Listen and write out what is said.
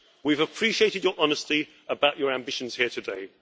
We have appreciated your honesty about your ambitions here today.